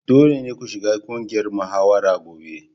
Dole ne ku shiga ƙungiyar muhawara gobe!